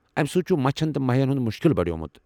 امہِ سۭتۍ چُھ مچھن تہٕ مہین ہُند مُشكِل بڈیومپت ۔